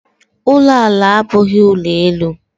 ụlọ ala abụghị ụlọ elu.